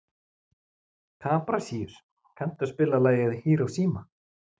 Kaprasíus, kanntu að spila lagið „Hiroshima“?